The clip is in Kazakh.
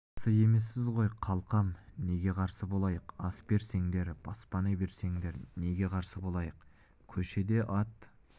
қарсы емессіз ғой қалқам неге қарсы болайық ас берсеңдер баспана берсендер неге қарсы болайық көшеде ат